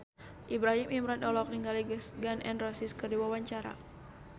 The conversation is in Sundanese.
Ibrahim Imran olohok ningali Gun N Roses keur diwawancara